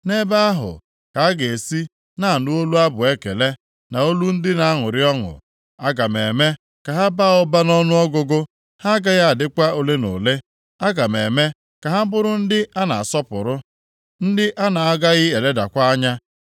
Nʼebe ahụ ka a ga-esi na-anụ olu abụ ekele, na olu ndị na-aṅụrị ọṅụ. Aga m eme ka ha baa ụba nʼọnụọgụgụ, ha agaghị adịkwa ole na ole. Aga m eme ka ha bụrụ ndị a na-asọpụrụ, ndị a na-agaghị eledakwa anya.